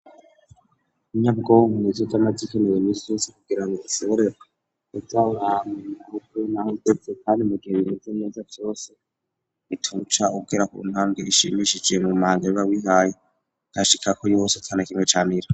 Inyabwonko mu yizo z'amazi ikenewe nis yose kugira ngo isibore ubyawranwe ahubwe n'aho itepse kandi mu giheise myeza cyose itaruca ubwera ku ntambwe ishimishije mu mahanga riba wihaye dashika ko vyose atanakinwe camira.